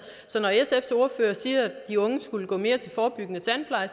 så når sfs ordfører siger at de unge skulle gå mere til forebyggende tandpleje